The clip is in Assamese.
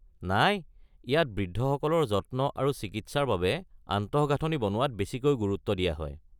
নাই, ইয়াত বৃদ্ধসকলৰ যত্ন আৰু চিকিৎসাৰ বাবে আন্তঃগাঁথনি বনোৱাত বেছিকৈ গুৰুত্ব দিয়া হয়।